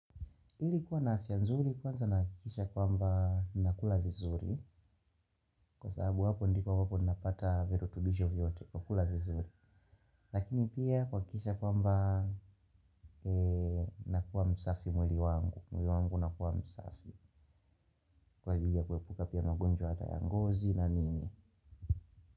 Ili kuwa na afya nzuri kwanza nahakikisha kwamba nakula vizuri kwa sababu hapo ndipo napata virekebisho vyote kwa kula vizuri. Lakini pia kuhakikisha kwamba nakuwa msafi mwili wangu. Mwili wangu unakuwa msafi. Kwa ajili ya kuepuka pia ugonjwa hata ya ngozi na nini.